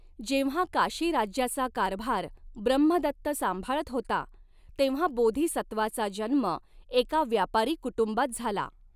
जेंव्हा काशीराज्याचा कारभार ब्रम्हदत्त सांभाळत होता, तेंव्हा बोधिसत्त्वाचा जन्म एका व्यापारी कुटुंबात झाला.